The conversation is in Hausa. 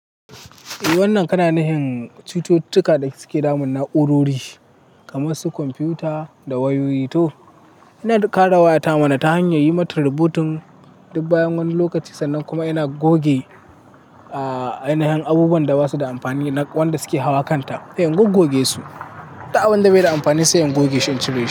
Eh wannan kana nufin cututtuka da suke damun na'urori kamar su kwamfuta da wayoyi. To ina ƙara wayata mana ta hanyar yi mata rebooting duk bayan wani lokaci, sannan kuma ina goge a yanayin abubuwan da ba su da amfani na wanda suke hawa kanta, in gogge su. Da abin da bai da amfani sai in goge shi in ci rai.